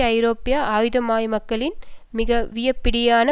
ஐரோப்பிய ஆயுதமயமாக்கலின் மிக விடாப்பிடியான